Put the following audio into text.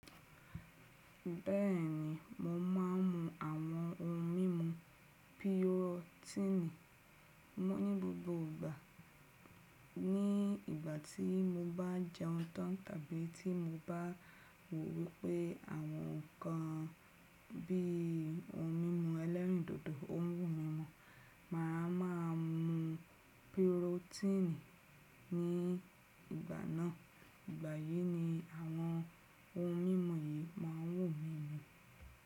Bẹ́ẹ̀ni mo máà ń mu àwọn ohun mímu pirotíìnì ní gbogbo ìgbà. Ní ìgbà tí mo bá jẹun tán tàbí tí mo bá wò wípé àwọn ǹkan bí i ohun mímu ẹlẹ́rìndòdò ń wù mí mu, màá máa mu pirotíìnì ní ìgbà náà. Ìgbà yìí ni àwọn ohun mímu yìí máa ń wù mí mu.